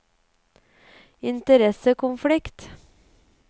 interessekonflikt